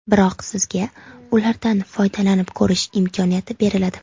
Biroq sizga ulardan foydalanib ko‘rish imkoniyati beriladi.